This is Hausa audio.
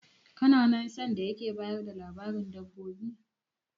Kana nan sanda yake bayar da labarin dabbobi?